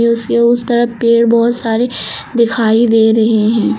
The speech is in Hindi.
उसके उस तरफ पेड़ बहुत सारे दिखाई दे रहे हैं।